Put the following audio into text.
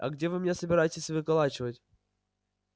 а где вы меня собираетесь выколачивать